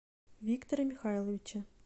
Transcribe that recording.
виктора михайловича